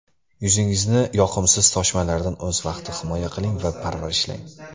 Yuzingizni yoqimsiz toshmalardan o‘z vaqtida himoya qiling va parvarishlang.